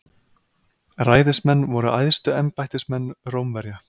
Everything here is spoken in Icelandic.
Ræðismenn voru æðstu embættismenn Rómverja.